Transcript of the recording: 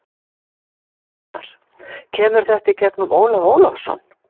Ingimar: Kemur þetta inn í gegnum Ólaf Ólafsson?